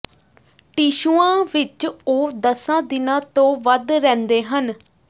ਟਿਸ਼ੂਆਂ ਵਿਚ ਉਹ ਦਸਾਂ ਦਿਨਾਂ ਤੋਂ ਵੱਧ ਰਹਿੰਦੇ ਹਨ